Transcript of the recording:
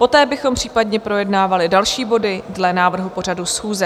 Poté bychom případně projednávali další body dle návrhu pořadu schůze.